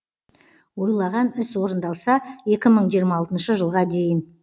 ойлаған іс орындалса екі мың жиырма алтыншы жылға дейін